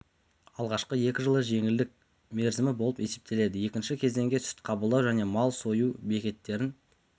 алғашқы екі жылы жеңілдік мерзімі болып есептеледі екінші кезеңде сүт қабылдау және мал сою бекеттерін